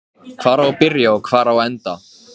Það er skítalykt af honum núna.